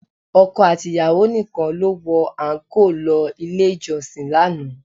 Ọkọ àti ìyàwó nìkan ló wọ àńkò lọ ilé ìjọsìn lánàá